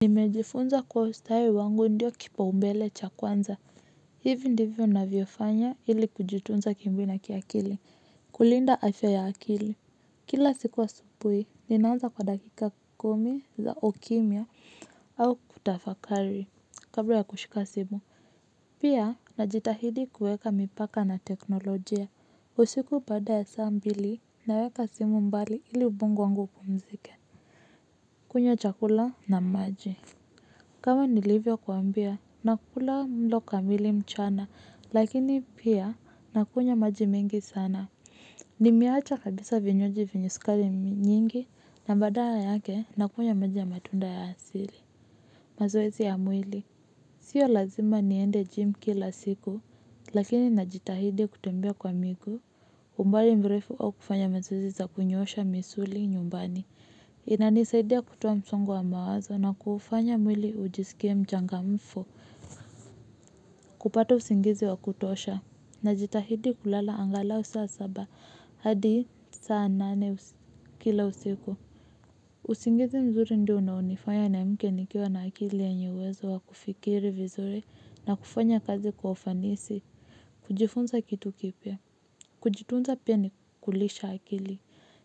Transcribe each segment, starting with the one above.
Nimejifunza kwa ustawi wangu ndiyo kipaumbele cha kwanza, hivi ndivyo navyofanya ili kujutunza kimwili na kiakili, kulinda afya ya akili. Kila siku asubuhi, ninaanza kwa dakika kumi za ukimya au kutafakari, kabla ya kushika simu. Pia, najitahidi kuweka mipaka na teknolojia, usiku baada ya saa mbili naweka simu mbali ili ubongo wangu upumzike. Kunywa chakula na maji. Kama nilivyokuambia, nakula mlo kamili mchana, lakini pia nakunywa maji mengi sana. Nimeacha kabisa vinywaji vyenye sukari nyingi, na badala yake nakunywa maji ya matunda ya asili. Mazoezi ya mwili, sio lazima niende gym kila siku, lakini najitahidi kutembea kwa miguu. Umbali mrefu au kufanya mazoezi za kunyoosha misuli nyumbani. Inanisaidia kutoa msongo wa mawazo na kuufanya mwili ujisikie mchangamfu. Kupata usingizi wa kutosha. Najitahidi kulala angalau saa saba hadi saa nane kila usiku. Usingizi mzuri ndio unaonifanya niamke nikiwa na akili yenye uwezo wa kufikiri vizuri na kufanya kazi kwa ufanisi. Kujifunza kitu kipya. Kujitunza pia ni kulisha akili.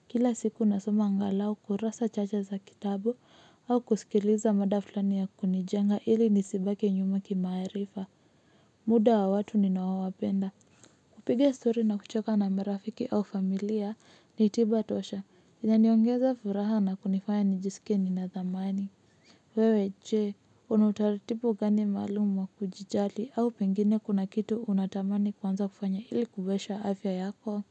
Kila siku nasoma angalau kurasa chache za kitabu au kusikiliza mada fulani ya kunijenga ili nisibaki nyuma kimaarifa. Muda wa watu ninaowapenda. Kupiga story na kuchoka na marafiki au familia ni tiba tosha. Inaniongeza furaha na kunifanya nijisikie nina thamani. Wewe jee, una utaratibu gani maalum wa kujijali au pengine kuna kitu unatamani kuanza kufanya ili kuboresha afya yako.